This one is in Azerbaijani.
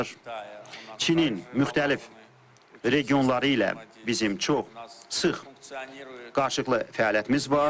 Çinin müxtəlif regionları ilə bizim çox sıx qarşılıqlı fəaliyyətimiz var.